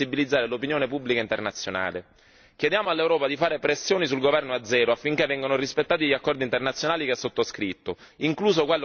Chiediamo all'Europa di fare pressioni sul governo azero affinché siano rispettati gli accordi internazionali che ha sottoscritto, incluso quello che gli permette di presiedere il Consiglio d'Europa.